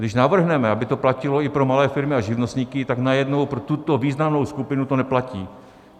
Když navrhneme, aby to platilo i pro malé firmy a živnostníky, tak najednou pro tuto významnou skupinu to neplatí.